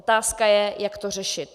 Otázka je, jak to řešit.